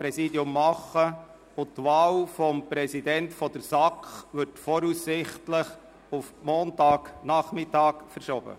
Die Wahl des Präsidenten der SAK wird voraussichtlich auf Montagnachmittag verschoben.